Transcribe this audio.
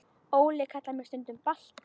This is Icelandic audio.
Óli kallar mig stundum Balta